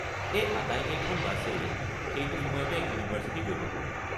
এই আটাইকেইখন বাছেই সেইটো সময়তে ইউনিভাৰ্ছিটি গৈ পাব।